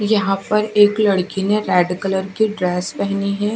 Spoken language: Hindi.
यहां पर एक लड़की ने रेड कलर का ड्रेस पहनी है।